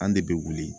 An de bɛ wuli